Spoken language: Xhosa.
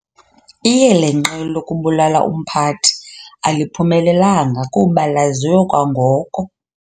Iyelenqe lokubulala umphathi aliphumelelanga kuba laziwe kwangoko.